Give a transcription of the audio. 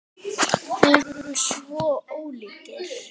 Þeir voru svo ólíkir.